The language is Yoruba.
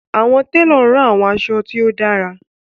Awọn telo ran awọn aṣọ ti o dara